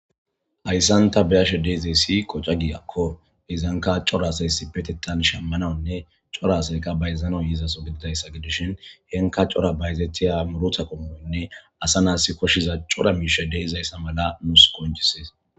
Haysan ta beyashe dizaysi qocha giyako izanka cora asay issippetethan shamanawnne cora asay bayzanaw izason dizaysa gidishin henika cora bayzetiza muruta qommonne asa na'as koshiza cora miishay de'izaysa mala nus qoncises.